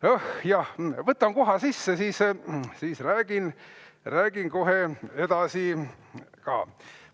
Õh jah, võtan koha sisse, siis räägin kohe edasi ka.